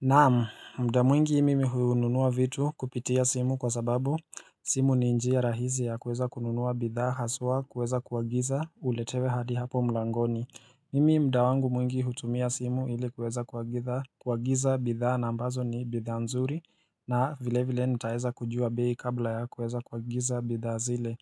Naam, mda mwingi mimi hununua vitu kupitia simu kwa sababu simu ni njia rahizi ya kuweza kununua bidhaa haswa kuweza kuagiza uletewe hadi hapo mlangoni. Mimi mda wangu mwingi hutumia simu ili kuweza kuagitha kuagiza bidhaa na ambazo ni bidhaa nzuri na vile vile nitaeza kujua bei kabla ya kuweza kuagiza bidhaa zile.